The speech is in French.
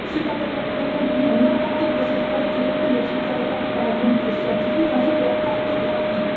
Ce catalogue pourrait contenir l'inventaire de ces forêts qui répondent aux critères établis par un comité scientifique, ainsi que leur cartographie.